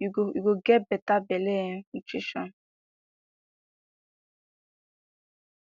you go get better belle um nutrition